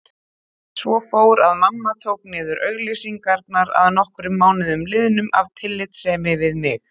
Svo fór að mamma tók niður auglýsingarnar að nokkrum mánuðum liðnum af tillitssemi við mig.